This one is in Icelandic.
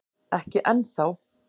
Ekki enn þá